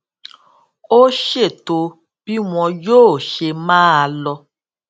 ó ṣètò bí wón yóò ṣe máa lọ